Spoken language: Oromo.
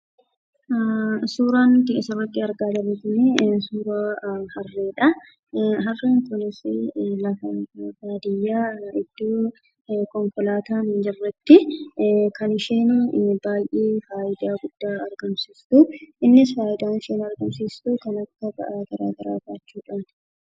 Suuraan nuti asirratti argaa jirru kun suuraa harreedha. Harreen kunis lafa baadiyyaa iddoo konkolaataan hin jirretti kan isheen faayidaa guddaa argamsiiftu. Innis faayidaan isheen argamsiiftu ba'aa garaagaraa baachuudhaani.